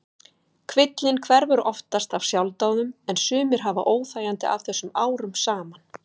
Kvillinn hverfur oftast af sjálfsdáðum en sumir hafa óþægindi af þessu árum saman.